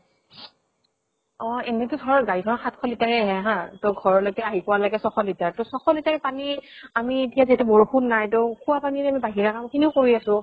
অ এনেতো ধৰ গাড়ী খনত সাত শ litre এ আহে হা, ত ঘৰলৈকে আহি পোৱা লৈকে ছয় শ litre ত ছশ litre পানী আমি এতিয়া যিহেতু বৰষুন নাই খোৱা পানীৰে বাহিৰা কাম খিনোও কৰি আছো